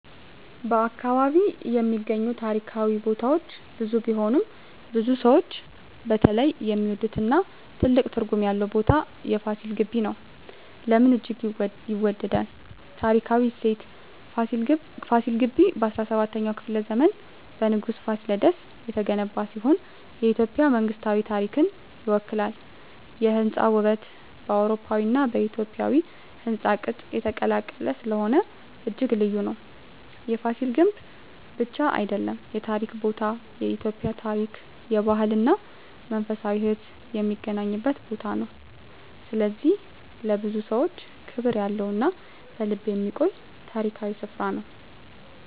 በ አካባቢ የሚገኙ ታሪካዊ ቦታዎች ብዙ ቢሆኑም፣ ብዙ ሰዎች በተለይ የሚወዱትና ትልቅ ትርጉም ያለው ቦታ የFasil Ghebbi (ፋሲል ግቢ) ነው። ለምን እጅግ ይወዳል? ታሪካዊ እሴት: ፋሲል ግቢ በ17ኛው ክፍለ ዘመን በንጉሥ Fasilides የተገነባ ሲሆን፣ የኢትዮጵያ መንግሥታዊ ታሪክን ይወክላል። የሕንፃ ውበት: በአውሮፓዊና በኢትዮጵያዊ ሕንፃ ቅጥ የተቀላቀለ ስለሆነ እጅግ ልዩ ነው። የፍሲል ግምብ ብቻ አይደለም የታሪክ ቦታ፤ የኢትዮጵያ ታሪክ፣ ባህል እና መንፈሳዊ ሕይወት የሚገናኝበት ቦታ ነው። ስለዚህ ለብዙ ሰዎች ክብር ያለው እና በልብ የሚቆይ ታሪካዊ ስፍራ ነው።